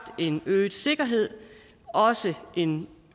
en øget sikkerhed og også en